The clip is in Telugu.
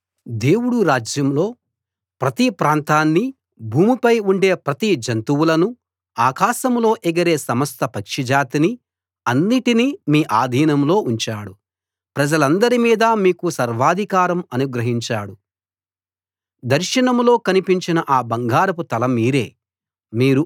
దేవుడు రాజ్యంలో ప్రతి ప్రాంతాన్నీ భూమిపై ఉండే ప్రతి జంతువులను ఆకాశంలో ఎగిరే సమస్త పక్షిజాతిని అన్నిటినీ మీ ఆధీనంలో ఉంచాడు ప్రజలందరి మీదా మీకు సర్వాధికారం అనుగ్రహించాడు దర్శనంలో కనిపించిన ఆ బంగారపు తల మీరే